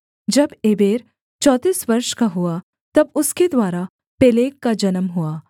जब एबेर चौंतीस वर्ष का हुआ तब उसके द्वारा पेलेग का जन्म हुआ